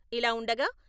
ఇలా ఉండగా..